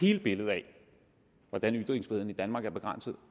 hele billedet af hvordan ytringsfriheden i danmark er begrænset